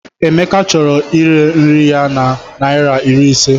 Emeka chọrọ ire nri ya na naira iri ise.